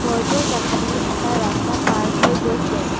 ঘৰটোৰ কাষেপিনে এটা ৰাস্তা পাৰ হৈ গৈছে।